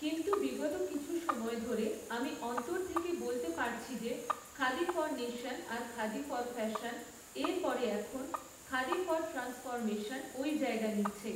কিন্তু, বিগত কিছু সময় ধরে, আমি অন্তর থেকে বলতে পারছি যে, খাদি ফর নেশন আর খাদি ফর ফ্যাশনের পরে এখন, খাদি ফর ট্র্যান্সফর্মেশন, ওই জায়গা নিচ্ছে।